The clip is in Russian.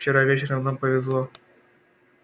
вчера вечером нам повезло